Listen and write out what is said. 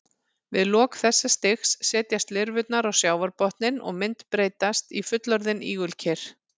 Við lok þessa stigs setjast lirfurnar á sjávarbotninn og myndbreytast í fullorðin ígulker.